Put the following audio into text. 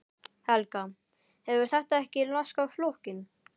Helga: Hefur þetta ekki laskað flokkinn?